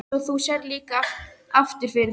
Svo þú sérð líka aftur fyrir þig?